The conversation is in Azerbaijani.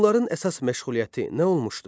Hunların əsas məşğuliyyəti nə olmuşdu?